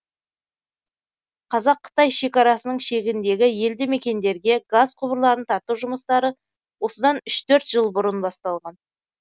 қазақ қытай шекарасының шегіндегі елді мекендерге газ құбырларын тарту жұмыстары осыдан үш төрт жыл бұрын басталған